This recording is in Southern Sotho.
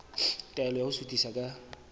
taelo ya ho suthisa ka